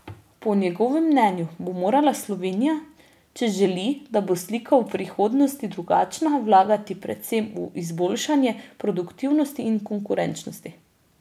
Po njegovem mnenju bo morala Slovenija, če želi, da bo slika v prihodnosti drugačna, vlagati predvsem v izboljšanje produktivnosti in konkurenčnosti.